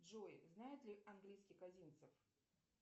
джой знает ли английский козинцев